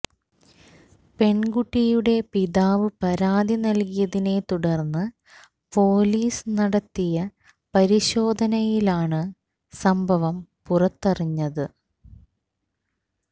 പെണ്കുട്ടിയുടെ പിതാവ് പരാതി നല്കിയതിനെത്തുടര്ന്ന് പൊലീസ് നടത്തിയ പരിശോധനയിലാണ് സംഭവം പുറത്തറിഞ്ഞത്